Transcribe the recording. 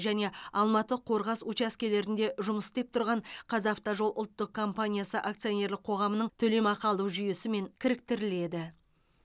және алматы қорғас учаскелерінде жұмыс істеп тұрған қазавтожол ұлттық компаниясы акционерлік қоғамының төлемақы алу жүйесімен кіріктіріледі